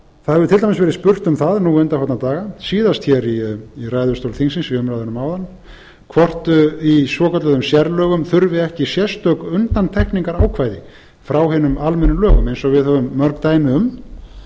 það hefur til dæmis verið spurt um það nú undanfarna daga síðast hér í ræðustól þingsins í umræðunum áðan hvort í svokölluðum sérlögum þurfi ekki sérstök undantekningarákvæði frá hinum almennu lögum eins og við höfum mörg dæmi um